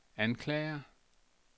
anklager